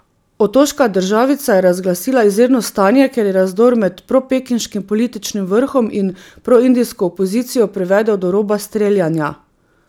Otoška državica je razglasila izredno stanje, ker je razdor med propekinškim političnim vrhom in proindijsko opozicijo privedel do roba streljanja.